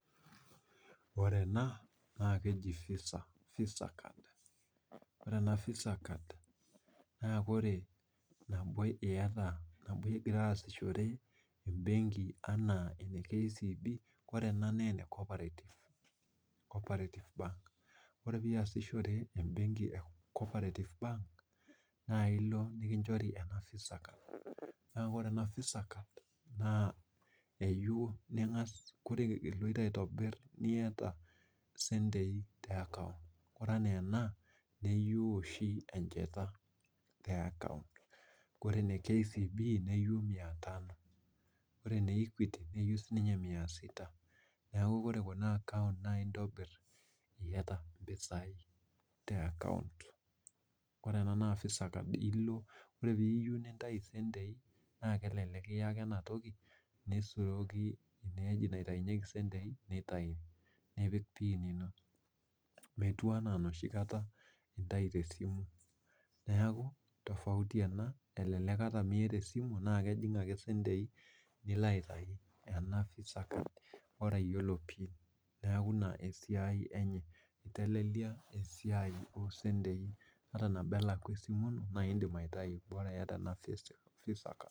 Ore ena naa Visa card ore iyata nabo ingira asishore embenki enaa ene KCB ore ena naa ene cooparative bank, ore pee eiasishore embenki e cooperative bank ,naa ilo nikinchori ena kadi e visa card naa ore ena Visa card oloito aitobir naa keyeiu niyata sentei ore enaa ena neyieu oshi enchata te akaaont ore ene KCB neyieu mia tano ore ene ekuiti nayieu siininye mia sita, neeku ore Kuna akaonts naa itobir iyata mpisai teakaount .ore ena naa Visa card ore pee iyieu nintayu sentei naa kelelek iya ake ena toki nisuroki eneweji naitayunyeki sentei neitayu nipik pin ino ,metii endaa enoshi kata inayu tesimu neeku tofauti ena telelekata miata esiamu na kejing ake sentei nilo aitayu ena Visa card Bora iyiolo pin. neeku ina esiai enye eitelelia esiai asentei ata nabo elakwa esimu ino naa indim aitayu Bora iyata ena Visa card.